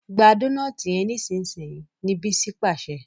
gbà Dónáátì yén nísìsiyìí! ní Bisi pàṣẹ.